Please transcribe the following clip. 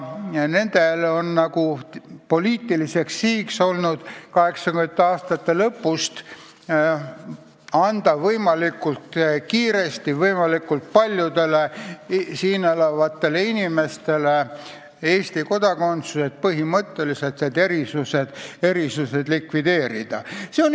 Nende poliitiline siht on olnud 1980. aastate lõpust peale anda võimalikult kiiresti ja võimalikult paljudele siin elavatele inimestele Eesti kodakondsus, et põhimõtteliselt need erisused likvideerida.